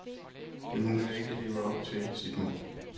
Men hun kan ikke leve op til sit mål.